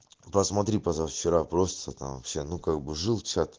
посмотри позавчера просто там все ну как бы жил чат